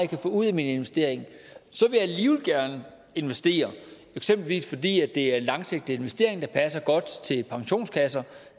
kan få ud af min investering så vil jeg alligevel gerne investere for eksempel fordi det er en langsigtet investering der passer godt til pensionskasser